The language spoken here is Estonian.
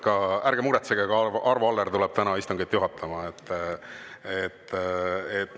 Ja ärge muretsege, ka Arvo Aller tuleb täna istungit juhatama.